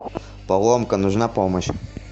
поломка нужна помощь